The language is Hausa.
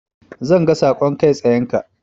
Zan ga saƙon kai tsayenka.